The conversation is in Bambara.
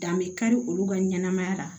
Dan be kari olu ka ɲɛnɛmaya la